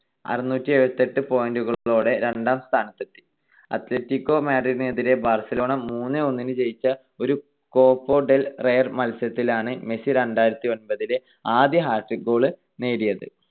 അറുനൂറ്റിഎഴുപത്തിയെട്ട് point കളോടെ രണ്ടാം സ്ഥാനത്തെത്തി. അത്‌ലറ്റിക്കോ മാഡ്രിഡിനെതിരെ ബാർസലോണ മൂന്ന് - ഒന്നിന് ജയിച്ച ഒരു കോപ്പ ഡെൽ റേയ് മത്സരത്തിലാണ് മെസ്സി രണ്ടായിരത്തിഒൻപതിലെ ആദ്യ hat trick goal നേടിയത്.